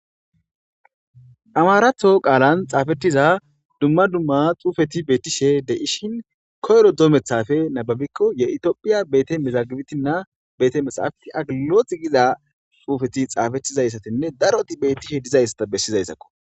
Amarato qalan xafetiza dumma dumma xufeti betishe deishin koyiro dometape nababikko ye ethiopia bete mezagibtina bete mexahafite ageligilot giza xufeti xafetizayitine daroti betishe dizaysa besizayisakko.